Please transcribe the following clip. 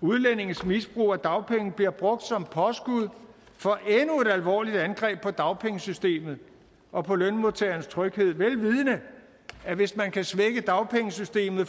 udlændinges misbrug af dagpenge bliver brugt som påskud for endnu et alvorligt angreb på dagpengesystemet og på lønmodtagernes tryghed vel vidende at hvis man kan svække dagpengesystemet